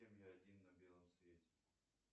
один на белом свете